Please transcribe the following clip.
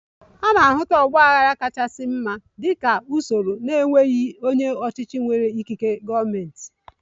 A na-ahụta ọgba aghara kachasị mma dị ka usoro na-enweghị onye ọchịchị nwere ikike gọọmentị